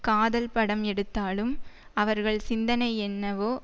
காதல் படம் எடுத்தாலும் அவர்கள் சிந்தனை என்னவோ